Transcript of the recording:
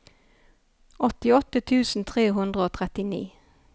åttiåtte tusen tre hundre og trettini